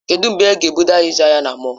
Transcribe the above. Kedụ mgbe ị ga-ebuga anyị ịzụ ahịa na mọll?